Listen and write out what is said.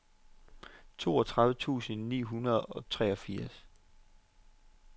toogtredive tusind ni hundrede og treogfirs